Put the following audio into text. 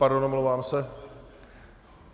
Pardon, omlouvám se.